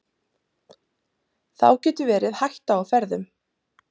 Þá getur verið hætta á ferðum.